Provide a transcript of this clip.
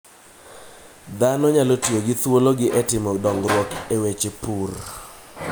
Dhano nyalo tiyo gi thuolono e timo dongruok e weche pur.